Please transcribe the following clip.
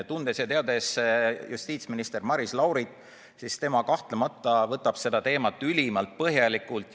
Tundes justiitsminister Maris Laurit, et tema kahtlemata võtab seda teemat ülimalt põhjalikult.